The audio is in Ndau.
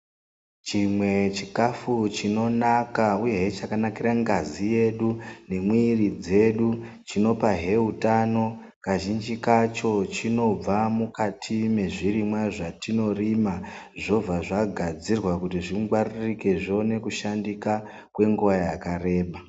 Chimwe chikhafu chinonaka uyehe chakanakira ngazi yedu , nemwiiri dzedu, chinopahe utano, kazhinji kacho chinobva mukati mwezvirimwa zvatinorima, zvobva zvagadzirwa kuti zvingwaririke zvione kushandika kwenguva yakareba.